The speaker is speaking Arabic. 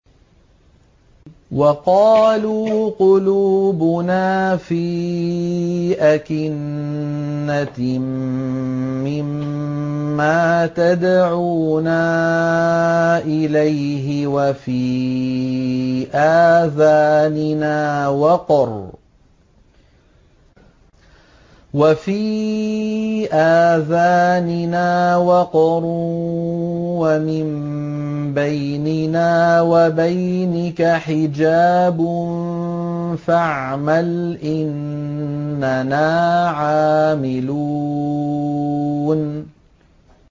وَقَالُوا قُلُوبُنَا فِي أَكِنَّةٍ مِّمَّا تَدْعُونَا إِلَيْهِ وَفِي آذَانِنَا وَقْرٌ وَمِن بَيْنِنَا وَبَيْنِكَ حِجَابٌ فَاعْمَلْ إِنَّنَا عَامِلُونَ